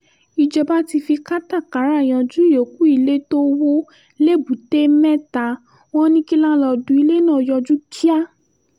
ìjọba ti fi katakata yanjú ìyókù ilé tó wọ lẹ́bùté-metta wọn ní kí láńlọ́ọ̀dù ilé náà yọjú kíá